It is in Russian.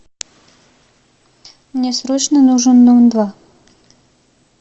мне срочно нужен дом два